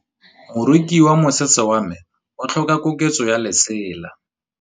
Moroki wa mosese wa me o tlhoka koketsô ya lesela.